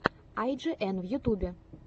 ай джи эн в ютубе